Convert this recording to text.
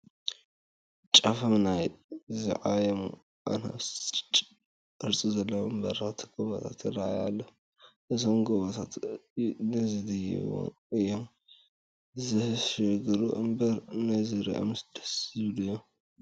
ጫፎም ናይ ዝዓየሙ ኣናብስ ቅርፂ ዘለዎም በረኽቲ ጐቦታት ይርአዩ ኣለዉ፡፡ እዞም ጐቦታት ንዝድይቦም እዮም ዘሽግሩ እምበር ንዝሪኦምስ ደስ ዝብሉ እዮም፡፡